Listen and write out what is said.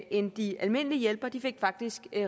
end de almindelige hjælpere faktisk